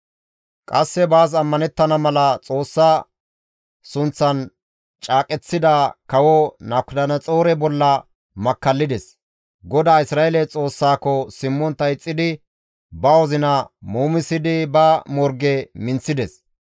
Qasse baas ammanettana mala Xoossa sunththan caaqeththida kawo Nabukadanaxoore bolla makkallides; GODAA Isra7eele Xoossaako simmontta ixxidi ba wozina muumisidi ba morge minththides.